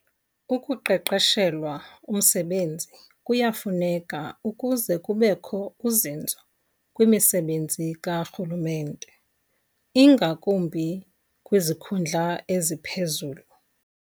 Ukuqeqeshelwa umsebenzi kuyafuneka ukuze kubekho uzinzo kwimisebenzi karhulumente, ingakumbi kwizikhundla eziphezulu.